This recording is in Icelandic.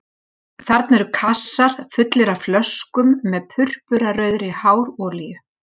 Þarna eru kassar fullir af flöskum með purpurarauðri hárolíu